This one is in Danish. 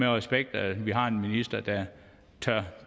respekt at vi har en minister der tør